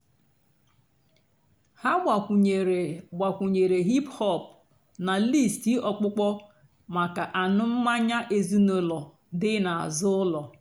há gbakwùnyèré gbakwùnyèré hìp-hòp nà lístì ọ̀kpụ́kpọ́ màkà ànú́ mmányá èzínụ́lọ́ dị́ n'àzụ́ ụ́lọ́.